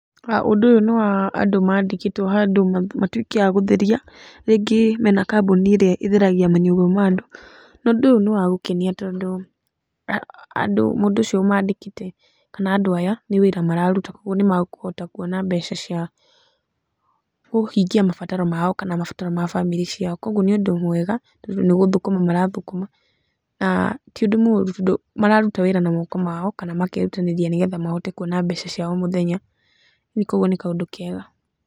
Ũndũ ũyũ nĩ wa andũ mandĩkĩtwo handũ matũĩke a gũtheria rĩngĩ mena kambuni ĩrĩa ĩtheragia manyũmba mandũ, na ũndũ ũyũ nĩ wa gũkenia tondũ mũndũ ũcio ũmandĩkĩte kana andũ aya nĩ wĩra mararũta kogũo nĩ makũhota kwona mbeca cia kũhingia mabatara mao kana mabataro ma bamĩrĩ ciao kogũo nĩ ũndũ mwega tondũ nĩ gũthokoma marathũkũma na, tĩũndũ mũrũ tondũ mararuta wĩra na moko mao kana makerũtanĩria nĩgetha mahote kuona mbeca cia o mũthenya kogũo nĩ kaũndũ kega.